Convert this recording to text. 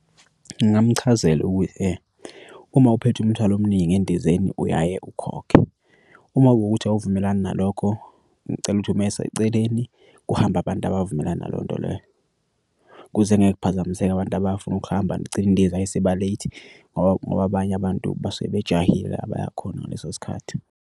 Ngingamchazela ukuthi uma uphethe umthwalo omningi endizeni uyaye ukhokhe. Uma kuwukuthi awuvumelani nalokho ngicela ukuthi ume seceleni kuhambe abantu abavumelani nalonto leyo. Ukuze engeke kuphazamiseka abantu abafuna ukuhamba kugcine inendiza isiba-late ngoba ngoba abanye abantu basuke bajahile abaya khona ngaleso sikhathi.